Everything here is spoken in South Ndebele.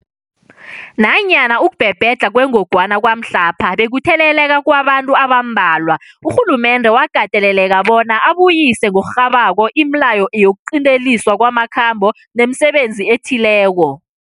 Nanyana ukubhebhedlha kwengogwana kwamhlapha bekukutheleleka kwabantu abambalwa, urhulumende wakateleleka bona abuyise ngokurhabako imileyo yokuqinteliswa kwamakhambo nemisebenzi ethileko.